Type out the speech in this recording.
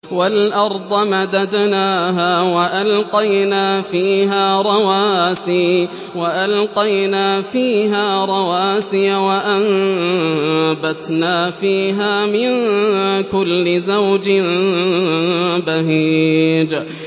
وَالْأَرْضَ مَدَدْنَاهَا وَأَلْقَيْنَا فِيهَا رَوَاسِيَ وَأَنبَتْنَا فِيهَا مِن كُلِّ زَوْجٍ بَهِيجٍ